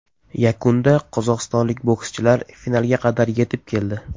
Yakunda qozog‘istonlik bokschilar finalga qadar yetib keldi.